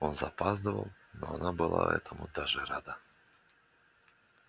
он запаздывал но она была этому даже рада